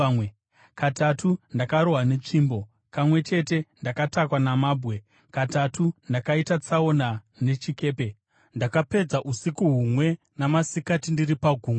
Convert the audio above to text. Katatu ndakarohwa netsvimbo, kamwe chete ndakatakwa namabwe, katatu ndakaita tsaona nechikepe, ndakapedza usiku humwe namasikati ndiri pagungwa,